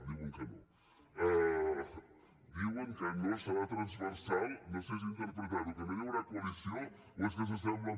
diuen que no diuen que no serà transversal no sé si interpretar ho que no hi haurà coalició o és que s’assemblen